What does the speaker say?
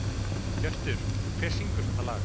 Hjörtur, hver syngur þetta lag?